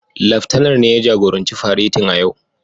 Laftanar ne ya jagoranci faretin a yau.